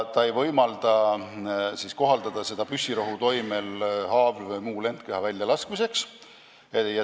Neid relvi ei saa kohaldada püssirohu toimel haavlite või muude lendkehade väljalaskmiseks.